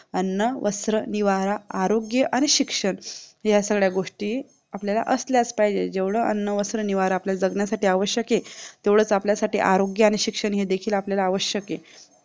अन्न वस्त्र निवारा आरोग्य आणि शिक्षण ह्या सगळ्या गोष्टी आपल्याला असल्याच पाहिजे जेवढ अन्न वस्त्र निवारा आपल्याला जाण्यासाठी आवश्यक आहे तेव्हडाच आपल्यासाठी आरोग्य आणि शिक्षण आवश्यक आहे